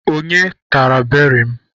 Onye tara beri m?